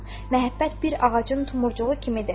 Məhəbbət bir ağacın tumurcuğu kimidir.